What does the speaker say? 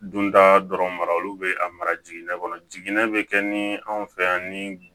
Dunda dɔrɔn mara olu bɛ a mara jiginɛ kɔnɔ jiginnen bɛ kɛ ni anw fɛ yan ni